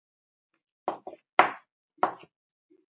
Glæsilegt mark og heimamenn aftur komnir yfir.